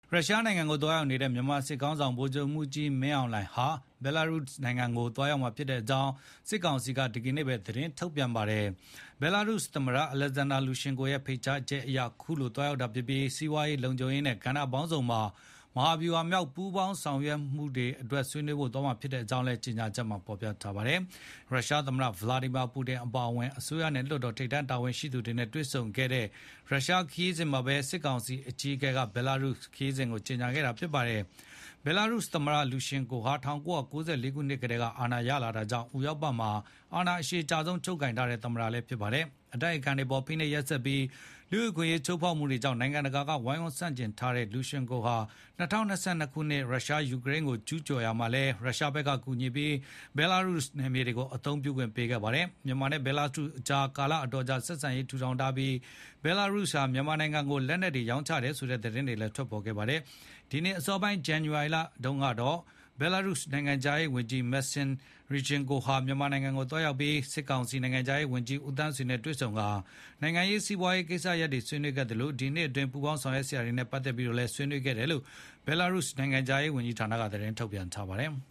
ရုရှားနိုင်ငံကိုရောက်နေတဲ့ မြန်မာစစ်ခေါင်းဆောင် ဗိုလ်ချုပ်မှူးကြီးမင်းအောင်လှိုင်ဟာ ဘဲလာရုစ် နိုင်ငံကိုသွားမှာဖြစ်ကြောင်း စစ်ကောင်စီက ဒီကနေ့ပဲ သတင်းထုတ်ပြန်ပါတယ်။ ဘဲလာရုစ်သမ္မတ Alexander Lukashenko ရဲ့ ဖိတ်ကြားချက်အရ ခုလို သွားရောက်တာဖြစ်ပြီး စီးပွားရေး၊ လုံခြုံရေးနဲ့ ကဏ္ဍပေါင်းစုံမှာ မဟာဗျူဟာမြောက်ပူးပေါင်းဆောင်ရွက်နိုင်ဖို့ ဆွေးနွေးသွားမှဖြစ်ကြောင်းလည်း ကြေညာချက်မှာ ဖေါ်ပြပါတယ်။ ရုရှားသမ္မတ Vladimir Putin အပါအဝင် အစိုးရနဲ့ လွှတ်တော် ထိပ်တန်းတာဝန်ရှိသူတွေနဲ့ တွေ့ဆုံခဲ့တဲ့ ရုရှားနိုင်ငံခရီးစဉ်မှာပဲ စစ်ကောင်စီအကြီးအကဲရဲ့ ဘဲလာရုစ်ခရီးစဉ်ကို ကြေညာခဲ့တာပါ။ ဘဲလာရုစ်သမ္မတ လူကာရှန်းကိုးဟာ ၁၉၉၄ ခုနှစ် ကတည်းက အာဏာရလာတာကြောင့် ဥရောပမှာ အာဏာအရှည်ကြာဆုံး ချုပ်ကိုင်ထားတဲ့ သမ္မတလည်းဖြစ်ပါတယ်။ အတိုက်အခံတွေအပေါ် ဖိနှိပ်ရက်စက်ပြီး လူ့အခွင့်အရေးချိုးဖေါက်မှုတွေကြောင့် နိုင်ငံတကာက ဝိုင်းဝန်းဆန့်ကျင်ထားတဲ့ လူကာရှန်းကိုးဟာ ၂၀၂၂ ခုနှစ် ယူကရိန်းကို ရုရှားက ကျူးကျော်ရာမှာလည်း ဘဲလာရုစ်နယ်မြေ အသုံးပြုခွင့်ပေးခဲ့ပါတယ်။ မြန်မာနဲ့ ဘဲလာရုစ်ကြား ကာလအတော်ကြာကတည်းက ဆက်ဆံရေးထူထောင်လာခဲ့တာဖြစ်ပြီး ဘဲလာရုစ်က မြန်မာကို လက်နက်တွေရောင်းချတယ်ဆိုတဲ့သတင်းတွေလည်း ထွက်ပေါ်ခဲ့ပါတယ်။ ဒီနှစ်အစောပိုင်း ဇန်နဝါရီလအစောပိုင်းတုန်းကတော့ ဘဲလာရုစ်နိုင်ငံခြားရေးဝန်ကြီး Maksim Ryzhenkov ဟာ မြန်မာနိုင်ငံကိုသွားရောက်ပြီး စစ်ကောင်စီနိုင်ငံခြားရေးဝန်ကြီး ဦးသန်းဆွေနဲ့ တွေ့ဆုံပြီး နိုင်ငံရေး၊ စီးပွားရေး ကိစ္စရပ်တွေဆွေးနွေးသလို ဒီနှစ်အတွင်း ပူးပေါင်းဆောင်ရွက်စရာ ကိစ္စတွေနဲ့ ပတ်သက်ပြီးတော့လည်း ဆွေးနွေးခဲ့တယ်လို့ ဘဲလာရုစ်နိုင်ငံခြားရေးဌာနက သတင်းထုတ်ပြန်ပါတယ်။